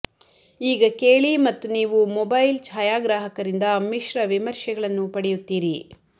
ಈಗ ಕೇಳಿ ಮತ್ತು ನೀವು ಮೊಬೈಲ್ ಛಾಯಾಗ್ರಾಹಕರಿಂದ ಮಿಶ್ರ ವಿಮರ್ಶೆಗಳನ್ನು ಪಡೆಯುತ್ತೀರಿ